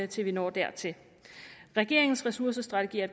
til vi når dertil regeringens ressourcestrategi er